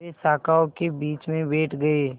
वे शाखाओं के बीच में बैठ गए